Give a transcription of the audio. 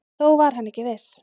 Þó var hann ekki viss.